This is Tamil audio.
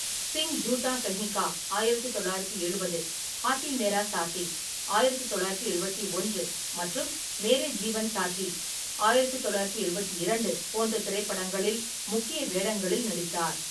சிங் ஜூட்டா கஹி கா ஆயிரத்து தொள்ளாயிரத்தி எழுபது, ஹாத்தி மேரே சாத்தி ஆயிரத்து தொள்ளாயிரத்தி எழுபத்தி ஒன்று மற்றும் மேரே ஜீவன் சாத்தி ஆயிரத்து தொள்ளாயிரத்தி எழுபத்தி இரண்டு போன்ற திரைப்படங்களில் முக்கிய வேடங்களில் நடித்தார்.